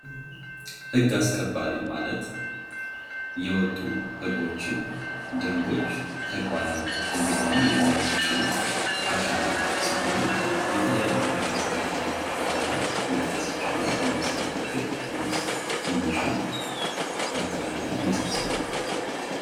ህግ አስከባሪ ማለት የወጡ ህጎችን ደንቦች ተግባራዊ እንዲሆኑ የሚያስችሉ አካላት ሲሆኑ የተለያዩ የህግ አስከባሪ አካላት መጥቀስ ይቻላል ለምሳሌ፦ ፖሊስ፣ ሚሊሻ፣ መከላከያ የመሳሰሉት